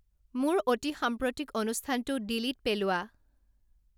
মোৰ অতিসাম্প্ৰতিক অনুষ্ঠানটো ডিলিটপেলোৱা